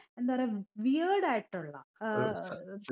എന്താ പറയാ weared ആയിട്ടുള്ള ഏർ